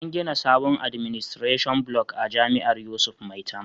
An gina sabon Administration Block a jami'ar yusuf maitama